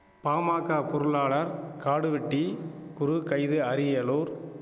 பாமாக்க பொருளாளர் காடுவெட்டி குரு கைது அரியலூர்